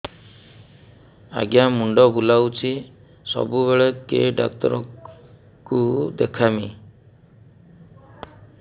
ଆଜ୍ଞା ମୁଣ୍ଡ ବୁଲାଉଛି ସବୁବେଳେ କେ ଡାକ୍ତର କୁ ଦେଖାମି